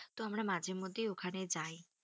তো আমরা মাঝে মধ্যে ওখানে যাই,